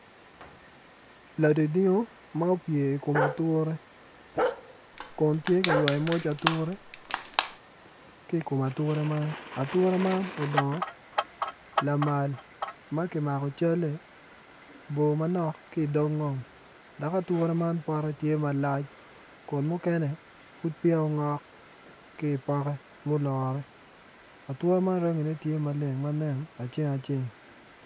Ladingdingo ma opye i kom ature kun tye ka ywayo moc ature tye i kom ature man ature man odongo lamal ma kimako calle bor manok ki i dog ngom dok ature man pote tye malac kun muken pud peya ongok ki i poke mulure ature man tye marangine nen ma aceng aceng.